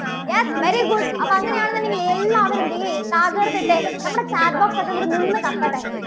yes very good അപ്പോൾ അങ്ങനെയാണെന്നുണ്ടെങ്കിൽ എല്ലാവരും ദേ ഇട്ടേ. നമ്മുടെ chat box ഒക്കെ അങ്ങട് നിന്ന് കത്തട്ടെ.